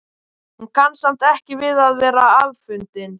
Hún kann samt ekki við að vera afundin.